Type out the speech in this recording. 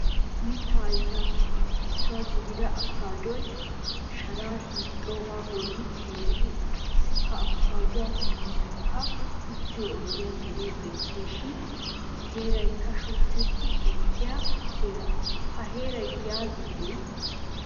Mitta ayfiyappe issuwaa gidida afokadoy shaara hiixxoga bollan teeridi uttiis. Ha afokaduwaa miyiankka uttiyo oyddiya gede beetishin heeraykka shuchchati ekkiya heera. Ha heeray giya giddoye?